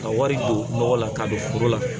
Ka wari don nɔgɔ la ka don foro la